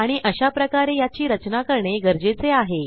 आणि अशाप्रकारे याची रचना करणे गरजेचे आहे